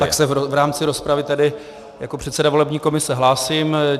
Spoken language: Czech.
Tak se v rámci rozpravy, tedy jako předseda volební komise, hlásím.